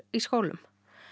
í skólum